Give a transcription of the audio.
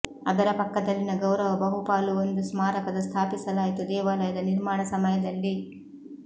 ಅದರ ಪಕ್ಕದಲ್ಲಿನ ಗೌರವ ಬಹುಪಾಲು ಒಂದು ಸ್ಮಾರಕದ ಸ್ಥಾಪಿಸಲಾಯಿತು ದೇವಾಲಯದ ನಿರ್ಮಾಣ ಸಮಯದಲ್ಲಿ